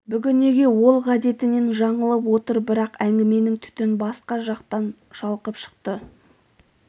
бүгін неге ол ғадетінен жаңылып отыр бірақ әңгіменің түтін басқа жақтан шалқып шықты